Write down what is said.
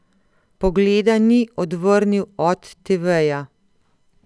Pogleda ni odvrnil od teveja.